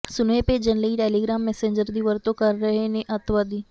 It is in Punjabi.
ਸੁਨੇਹੇ ਭੇਜਣ ਲਈ ਟੈਲੀਗ੍ਰਾਮ ਮੈਸੇਂਜਰ ਦੀ ਵਰਤੋਂ ਕਰ ਰਹੇ ਨੇ ਅਤਿਵਾਦੀ